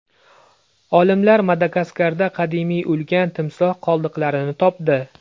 Olimlar Madagaskarda qadimiy ulkan timsoh qoldiqlarini topdi.